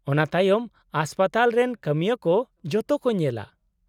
-ᱚᱱᱟ ᱛᱟᱭᱚᱢ ᱦᱟᱥᱯᱟᱛᱟᱞ ᱨᱮᱱ ᱠᱟᱹᱢᱤᱭᱟᱹ ᱠᱚ ᱡᱚᱛᱚ ᱠᱚ ᱧᱮᱞᱟ ᱾